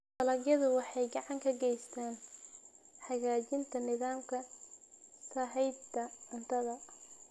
Dalagyadu waxay gacan ka geystaan ??hagaajinta nidaamka sahayda cuntada.